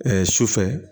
Ɛɛ sufɛ